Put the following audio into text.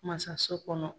Masaso kɔnɔ